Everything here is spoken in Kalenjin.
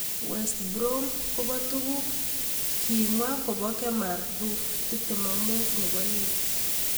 West Brom kobo tuguk amwa kobo Kemar Roofe, 25, nebo Leeds.